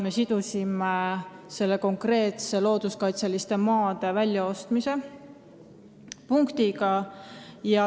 Me sidusime selle konkreetse looduskaitseliste maade väljaostmise punktiga.